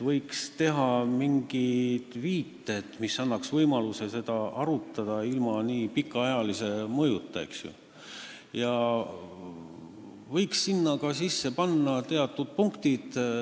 Võiks teha mingid viited, mis annaks võimaluse arutada seda ilma nii pikaajalise mõjuta, ja võiks sinna ka teatud punktid sisse panna.